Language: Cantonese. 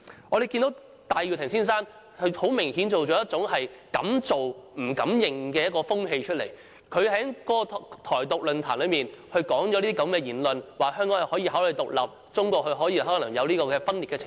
我們看見戴耀廷先生很明顯地造成了一種"敢做不敢認"的風氣，他在台獨論壇上發表了這種言論，說香港可以考慮獨立，中國可能出現分裂的情況。